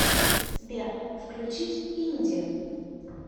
сбер включить инди